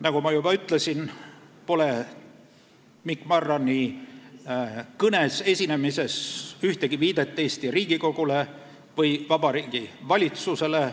" Nagu ma juba ütlesin, pole Mikk Marrani kõnes, esinemises ühtegi viidet Eesti Riigikogule või Vabariigi Valitsusele.